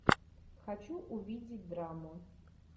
хочу увидеть драму